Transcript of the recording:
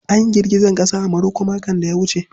An yi girgizar ƙasa a Maroko makon da ya gabata.